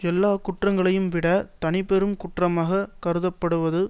எல்லா குற்றங்களையும் விட தனிப்பெருங் குற்றமாக கருதப்படுவது